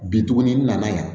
Bi tuguni n na na yan